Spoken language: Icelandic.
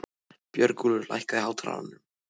Björgúlfur, lækkaðu í hátalaranum.